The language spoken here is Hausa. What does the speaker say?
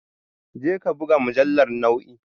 Jeka buga mujallar noe